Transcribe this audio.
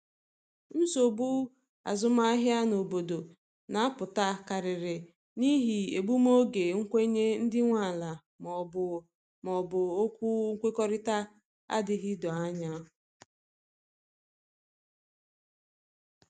Nsogbu azụmahịa n’obodo na apụta karịrị n'ihi egbum oge nkwenye ndị nwe ala ma ọ bụ ma ọ bụ okwu nkwekọrịta adịghị doo anya